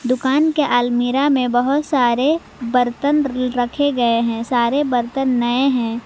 दुकान के अलमीरा में बहुत सारे बर्तन रखे गए हैं सारे बर्तन नए हैं।